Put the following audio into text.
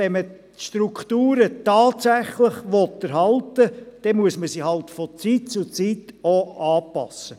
Wenn man die Strukturen aber tatsächlich erhalten will, muss man sie halt auch von Zeit zu Zeit anpassen.